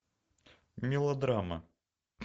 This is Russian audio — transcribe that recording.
мелодрама